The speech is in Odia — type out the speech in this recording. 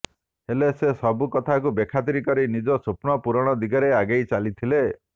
ହେଲେ ସେ ସବୁ କଥାକୁ ବେଖାତିର କରି ନିଜ ସ୍ୱପ୍ନ ପୂରଣ ଦିଗରେ ଆଗେଇ ଚାଲିଥିଲେ